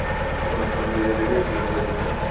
ਅਹ ਬੰਦੇ ਦੇ finger's ਹੈ ਨਾ